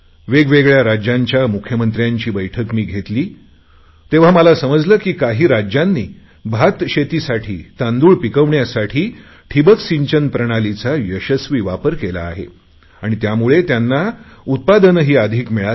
वेगवेगळया राज्यांच्या मुख्यमंत्र्यांची बैठक मी घेतली तेव्हा मला समजले की काही राज्यांनी भात शेतीसाठी तांदूळ पिकवण्यासाठी ठिंबक सिंचन प्रणालीचा यशस्वी वापर केला आहे आणि त्यामुळे त्यांना उत्पादनही अधिक मिळाले